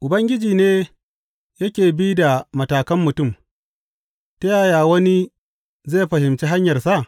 Ubangiji ne yake bi da matakan mutum, Ta yaya wani zai fahimci hanyarsa?